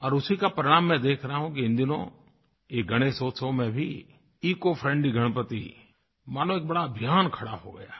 और उसी का परिणाम आज मैं देख रहा हूँ कि इन दिनों ये गणेशोत्सव में भी इकोफ्रेंडली गणपति मानो एक बड़ा अभियान खड़ा हो गया है